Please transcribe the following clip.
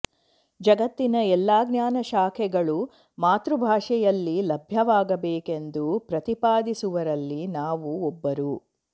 ಜಗತ್ತಿನ ಎಲ್ಲ ಜ್ಞಾನಶಾಖೆಗಳು ಮಾತೃಭಾಷೆಯಲ್ಲಿ ಲಭ್ಯವಾಗಬೇಕೆಂದು ಪ್ರತಿಪಾದಿಸುವರಲ್ಲಿ ನಾವು ಒಬ್ಬರು